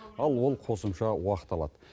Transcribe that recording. ал ол қосымша уақыт алады